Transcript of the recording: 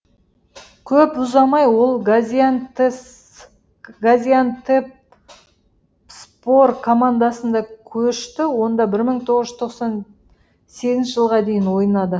көп ұзамай ол газиантепспор командасында көшті онда бір мың тоғыз жүз тоқсан сегізінші жылға дейін ойнады